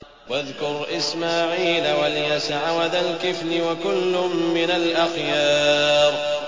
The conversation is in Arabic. وَاذْكُرْ إِسْمَاعِيلَ وَالْيَسَعَ وَذَا الْكِفْلِ ۖ وَكُلٌّ مِّنَ الْأَخْيَارِ